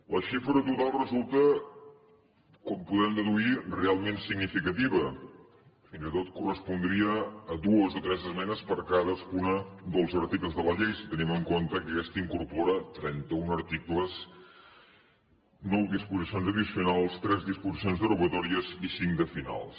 la xifra total resulta com podem deduir realment significativa fins i tot correspondria a dues o tres esmenes per cadascun dels articles de la llei si tenim en compte que aquesta incorpora trenta un articles nou disposicions addicionals tres disposicions derogatòries i cinc de finals